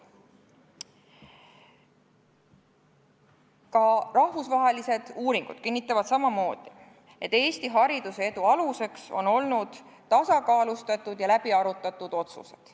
Ka rahvusvahelised uuringud kinnitavad, et Eesti hariduse edu aluseks on olnud tasakaalustatud ja läbiarutatud otsused.